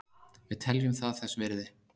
Við teljum það þess virði